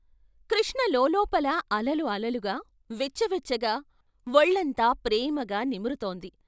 కృష్ణ లోలోపల అలలు అలలుగా, వెచ్చవెచ్చగా వొళ్ళంతా ప్రేమగా నిమురుతోంది.